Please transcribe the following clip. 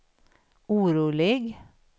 orolig